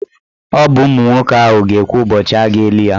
Ọ bụ ụmụ nwoke ahụ ga-ekwu ụbọchị a ga-eli ya.